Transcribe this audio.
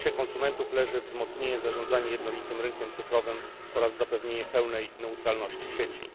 W interesie konsumentów leży wzmocnienie zarządzania jednolitym rynkiem cyfrowym oraz zapewnienie pełnej neutralności sieci.